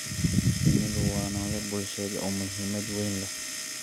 Shinnidu waa noole bulsheed oo muhiimad weyn leh.